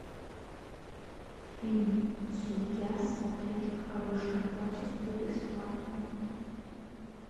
фильм судья смотреть в хорошем качестве бесплатно